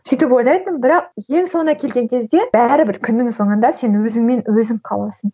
сөйтіп ойлайтынмын бірақ ең соңында келген кезде бәрібір күннің соңында сен өзіңмен өзің қаласың